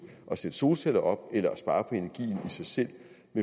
at sætte solceller op eller i sig selv